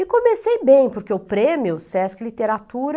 E comecei bem, porque o prêmio Sesc Literatura...